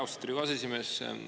Austatud Riigikogu aseesimees!